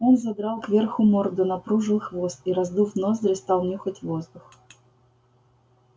он задрал кверху морду напружил хвост и раздув ноздри стал нюхать воздух